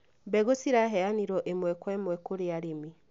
Mbegũ ciraheanireo ĩmwe kwa ĩmwe kũrĩ arĩmi